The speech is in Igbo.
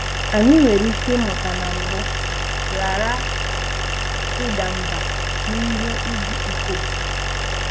Anyị nwere ike ịmụta na mbụ, ghara ịda mbà n'ihi ịjụ ikom.